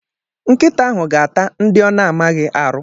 Nkịta ahụ ga-ata ndị ọ na-amaghị arụ.